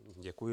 Děkuji.